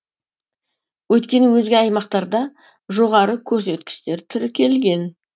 өйткені өзге аймақтарда жоғары көрсеткіштер тіркелген